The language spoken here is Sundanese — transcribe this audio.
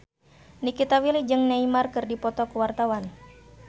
Nikita Willy jeung Neymar keur dipoto ku wartawan